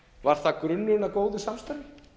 var það grunnurinn að góðu samstarfi